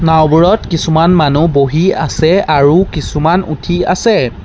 নাওবোৰত কিছুমান মানুহ বহি আছে আৰু কিছুমান উঠি আছে।